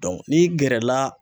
n'i gɛrɛ la